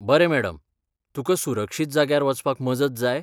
बरें मॅडम, तुका सुरक्षीत जाग्यार वचपाक मजत जाय?